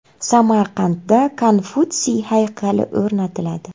Samarqandda Konfutsiy haykali o‘rnatiladi.